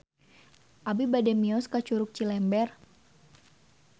Abi bade mios ka Curug Cilember